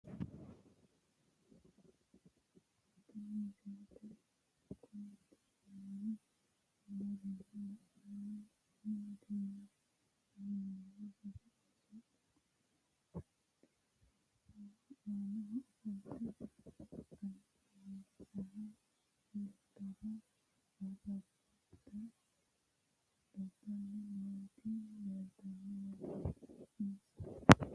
Tinni misile kulittanni noorrinna la'nanniri maattiya yinummoro sase oosso xexerissaho annaho ofollitte alibbidinsaha iillittara ariiffatte doddanni nootti leelittanno yaatte insa